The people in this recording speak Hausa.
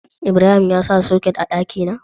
Ibrahim ya sa soket a dakina?